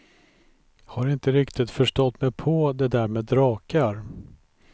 Har inte riktigt förstått mig på det där med drakar.